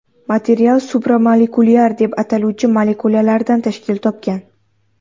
Material supramolekulyar deb ataluvchi molekulalardan tashkil topgan.